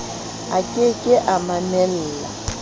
ke ke a mamella ho